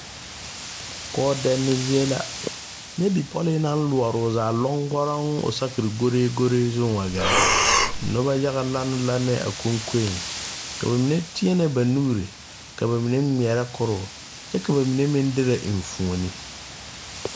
Koodɛne zie la nyɛ bipɔlee naŋ loɔɔre o zaa lɔŋgɔrɔŋ o saakire goreegoree zuŋ wa gɛrɛ noba yaga lane lanee a konkoeŋ ka ba mine teɛnɛ ba nuure ka ba ngmɛɛrɛ koroo ka ba mine meŋ dirɛ enfuone.